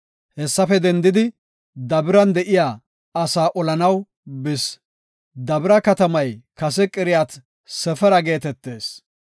Hessafe dendidi, Dabiran de7iya asaa olanaw bis. Dabira katamay kase Qiriyat-Sefera geetetees.